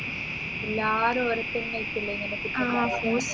എല്ലാരും ഊരെന്നെ തന്നെ ഏർകുമല്ലേ ഇങ്ങനെ കുറ്റം പറയാ